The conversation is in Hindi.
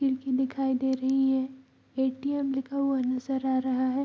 खिड़की दिखाई दे रही है ए.टी.एम. लिखा हुआ नजर आ रहा है।